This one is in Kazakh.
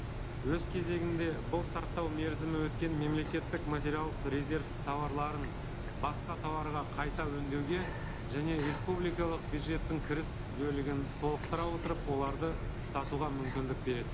өз кезегінде бұл сақтау мерзімі өткен мемлекеттік материалдық резерв тауарларын басқа тауарға қайта өңдеуге және республикалық бюджеттің кіріс бөлігін толықтыра отырып оларды сатуға мүмкіндік береді